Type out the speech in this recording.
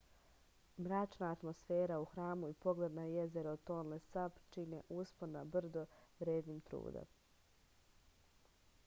mračna atmosfera u hramu i pogled na jezero tonle sap čine uspon na brdo vrednim truda